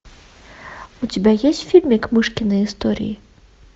у тебя есть фильмик мышкины истории